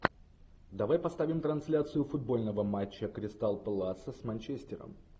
давай поставим трансляцию футбольного матча кристал пэласа с манчестером